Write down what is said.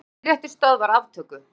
Hæstiréttur stöðvar aftöku